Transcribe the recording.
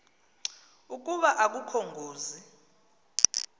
ukuba akukho ngozi